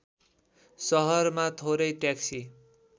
सहरमा थोरै ट्याक्सी